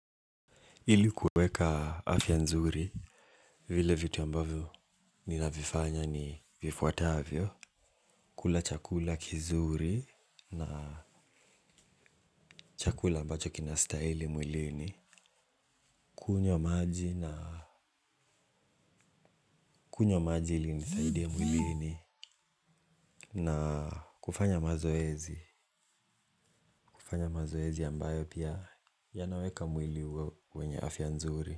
Ili kuweka afya nzuri vile vitu ambavyo ninavifanya ni vifuatavyo. Kula chakula kizuri na chakula ambacho kinastahili mwilini. Kunywa maji na kunywa maji ili inisaidie mwilini. Na kufanya mazoezi. Kufanya mazoezi ambayo pia yanaweka mwili wenye afya nzuri.